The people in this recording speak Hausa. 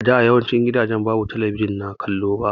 A da yawancin gidaje babu talabijin na kallo ba.